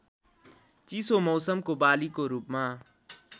चिसो मौसमको बालीको रूपमा